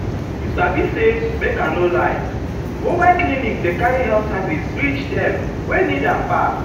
you sabi say make i no lie mobile clinics dey carry health services reach dem wey need am pass.